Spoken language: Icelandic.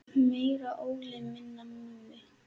Meira Óli, minna Mummi!